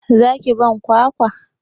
Za ki ban kwakwa?